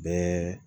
Bɛɛ